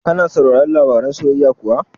Ka na sauraron labaran soyayya kuwa?